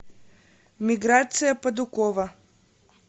миграция падукова